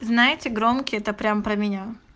знаете громкие это прямо про меня